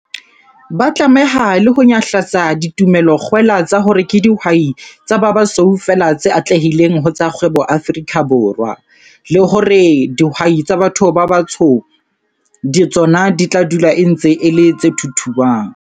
Ba tlameha le ho nyahlatsa ditumelo-kgwela tsa hore ke dihwai tsa ba basweu feela tse atlehileng ho tsa kgwebo Afrika Borwa, le hore dihwai tsa batho ba batsho tsona di tla dula e ntse e le tse thuthuang.